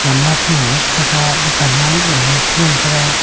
gamla kunu e che taga dukan malik lo ee sha ngan thaga.